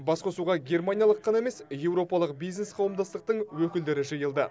басқосуға германиялық қана емес еуропалық бизнес қауымдастықтың өкілдері жиылды